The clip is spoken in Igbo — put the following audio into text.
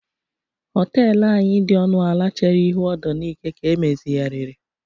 họtelu anyị dị ọnụ ala chere ihu ọdọ Nike ka emezigharịrị